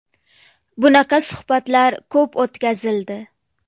Bunaqa suhbatlar ko‘p o‘tkazildi.